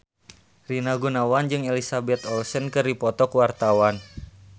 Rina Gunawan jeung Elizabeth Olsen keur dipoto ku wartawan